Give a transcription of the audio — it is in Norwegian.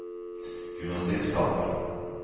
gymnastikksal